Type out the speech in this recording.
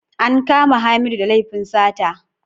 An kama Hamidu da laifin sata.